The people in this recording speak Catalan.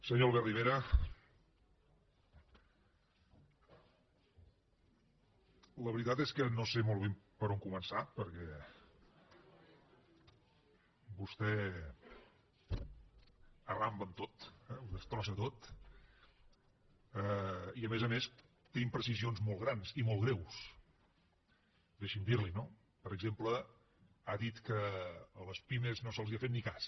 senyor albert rivera la veritat és que no sé molt bé per on començar perquè vostè arramba amb tot eh ho destrossa tot i a més a més té imprecisions molt grans i molt greus deixi’m dir li ho no per exemple ha dit que a les pimes no se’ls ha fet ni cas